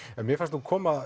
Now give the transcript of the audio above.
mér fannst koma